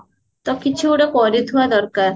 ତ କିଛି ଗୋଟେ କରୁଥିବା ଦରକାର